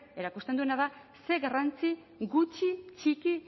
erakusten duena da ze garrantzi gutxi txiki